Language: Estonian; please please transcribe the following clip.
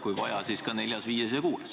Kui vaja, siis ka neljas, viies ja kuues.